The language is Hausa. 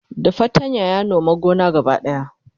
da fatanya ya Nome gonan gaba daya